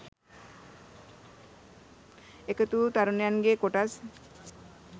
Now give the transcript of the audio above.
එකතු වූූ තරුණයන්ගේ කොටස්